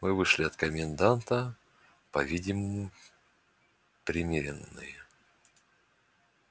мы вышли от коменданта по-видимому примирённые